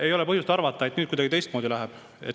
Ei ole põhjust arvata, et nüüd kuidagi teistmoodi läheb.